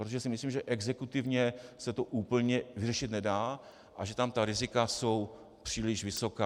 Protože si myslím, že exekutivně se to úplně vyřešit nedá a že tam ta rizika jsou příliš vysoká.